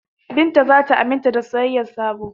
Binta za ta aminta da soyayyar Sabo.